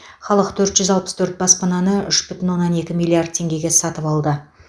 халық төрт жүз алпыс төрт баспананы үш бүтін оннан екі миллиард теңгеге сатып алды